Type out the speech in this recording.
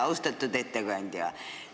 Austatud ettekandja!